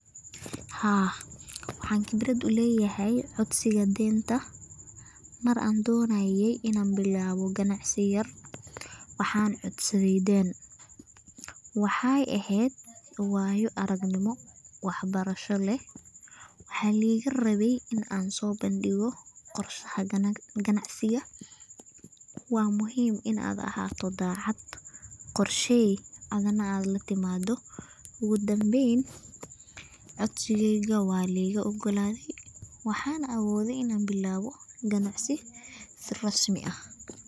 Haa, waxaan qibrad uleeyahy codsiga deenta mar aan doonaye inaan bilaabo ganacsi yar waxaan codsadhe deen. Waxey aheed waayo aragnimo waxbarasho leh waxaaligarabe inaan soobandigo qorshaha ganacsiga ha. Waa muhiim inaad ahaato daacad qorshey analatimado .Ugudambeyn codsigeyga waa ligaogaladhey waxxana awoodhey inaan bilaabo ganacsi si rasmi ah.